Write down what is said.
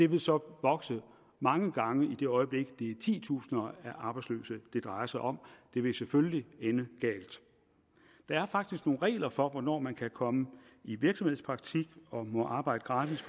vil så vokse mange gange i det øjeblik det er titusinder af arbejdsløse det drejer sig om det vil selvfølgelig ende galt der er faktisk nogle regler for hvornår man kan komme i virksomhedspraktik og må arbejde gratis